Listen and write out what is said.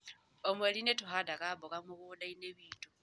O mweri nĩ tũhandaga mboga mũgũnda-inĩ witũ.